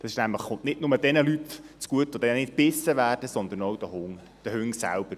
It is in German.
Das kommt nämlich nicht nur jenen Leuten zugute, die dann nicht gebissen werden, sondern auch den Hunden selber.